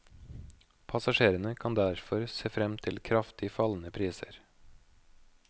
Passasjerene kan derfor se frem til kraftig fallende priser.